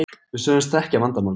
Við sögðumst þekkja vandamálið.